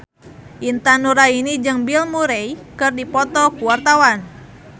Intan Nuraini jeung Bill Murray keur dipoto ku wartawan